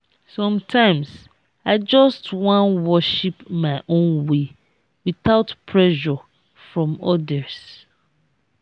sometimes i just wan worship my own way without pressure from odirs.